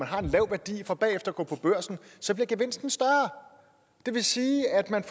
har en lav værdi for bagefter at gå på børsen så bliver gevinsten større det vil sige at man